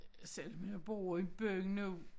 Selvom jeg bor i byen nu